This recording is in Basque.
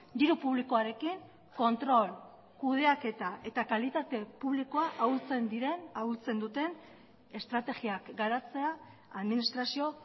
diru publikoarekin kontrol kudeaketa eta kalitate publikoa ahultzen diren ahultzen duten estrategiak garatzea administrazio